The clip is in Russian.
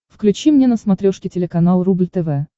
включи мне на смотрешке телеканал рубль тв